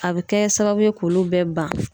A bɛ kɛ sababu ye k'olu bɛɛ ban.